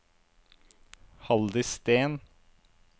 Halldis Steen